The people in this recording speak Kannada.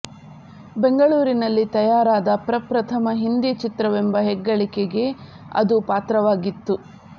ಬೆಂಗಳೂ ರಿನಲ್ಲಿ ತಯಾ ರಾದ ಪ್ರಪ್ರಥಮ ಹಿಂದಿ ಚಿತ್ರವೆಂಬ ಹೆಗ್ಗಳಿಕೆಗೆ ಅದು ಪಾತ್ರವಾಗಿತ್ತು